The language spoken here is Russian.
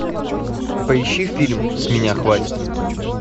поищи фильм с меня хватит